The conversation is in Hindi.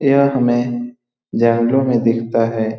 यह हमे में दिखता है।